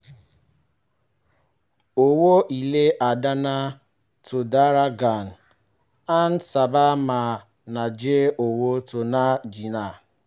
owó ilé ìdáná tó dára gan-an sábà máa ń jẹ́ owó tó ń bà jìnà